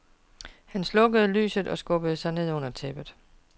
Han slukkede lyset og skubbede sig ned under tæppet.